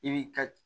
I b'i ka